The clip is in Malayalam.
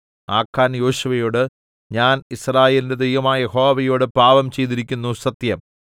ആഖാൻ യോശുവയോട് ഞാൻ യിസ്രായേലിന്റെ ദൈവമായ യഹോവയോട് പാപം ചെയ്തിരിക്കുന്നു സത്യം